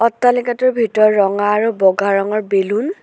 অট্টালিকাটোৰ ভিতৰত ৰঙা আৰু বগা ৰঙৰ বেলুন --